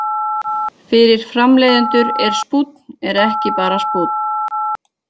Fyrir framleiðendur er spúnn er ekki bara spúnn.